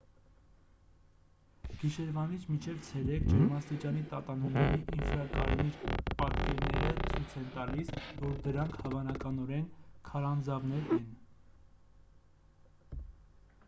գիշերվանից մինչև ցերեկ ջերմաստիճանի տատանումների ինֆրակարմիր պատկերները ցույց են տալիս որ դրանք հավանականորեն քարանձավներ են